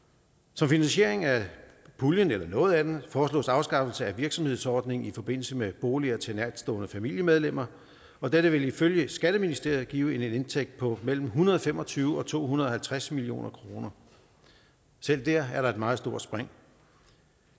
som finansiering af puljen eller noget af den foreslås afskaffelse af virksomhedsordningen i forbindelse med boliger til nærtstående familiemedlemmer og dette vil ifølge skatteministeriet give en indtægt på mellem en hundrede og fem og tyve og to hundrede og halvtreds million kroner selv der er der et meget stort spring